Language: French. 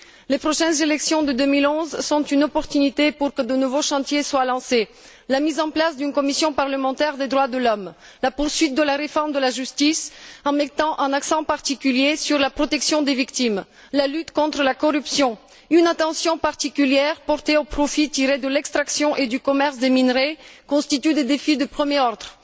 Les prochaines élections de 2011 sont une opportunité pour que de nouveaux chantiers soient lancés. La mise en place d'une commission parlementaire des droits de l'homme, la poursuite de la réforme de la justice, en mettant un accent particulier sur la protection des victimes, la lutte contre la corruption, une attention particulière portée au profit tiré de l'extraction et du commerce des minerais constituent des défis de premier ordre.